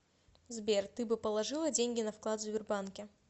сбер ты бы положила деньги на вклад в сбербанке